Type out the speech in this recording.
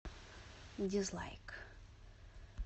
дизлайк